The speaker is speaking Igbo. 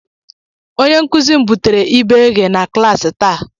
Onye nkuzi m butere ibe eghe na klaasị taa